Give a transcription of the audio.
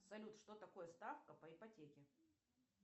салют что такое ставка по ипотеке